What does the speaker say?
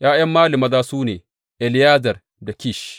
’Ya’yan Mali maza su ne, Eleyazar da Kish.